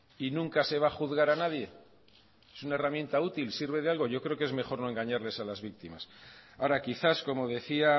y nunca se va a juzgar a nadie es una herramienta útil sirve de algo yo creo que es mejor no engañarles a las víctimas ahora quizás como decía